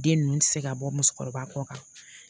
Den ninnu tɛ se ka bɔ musokɔrɔba kɔ kan